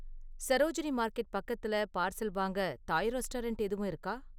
Sarojini market பக்கத்தில் parcel வாங்க Thai restaurant எதுவும் இருக்கா?